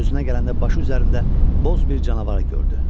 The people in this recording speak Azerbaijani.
Özünə gələndə başı üzərində boz bir canavar gördü.